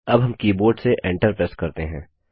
अब हम कीबोर्ड से Enter प्रेस करते हैं